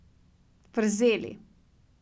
Vrzeli.